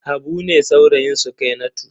Habu ne saurayin Sukainatu.